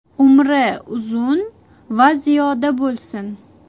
Umri uzun va ziyoda bo‘lsin!